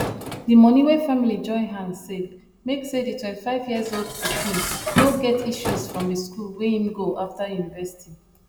the money wey family join hands save make say the 25years old pikin no get issues from the school wey him go after university